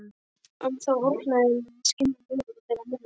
Ennþá orna ég mér við skin þeirra minninga.